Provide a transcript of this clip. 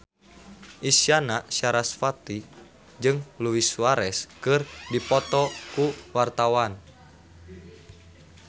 Isyana Sarasvati jeung Luis Suarez keur dipoto ku wartawan